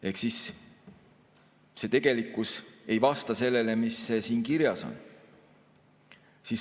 Ehk tegelikkus ei vasta sellele, mis siin kirjas on.